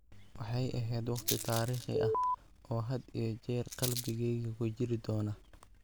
Waxay ahayd waqti taariikhi ah oo had iyo jeer qalbigeyga ku jiri doona.